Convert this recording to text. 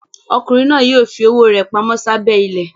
Ọkùnrin náà yóò fi owó rẹ̀ pamọ́ sábẹ́ ilẹ̀.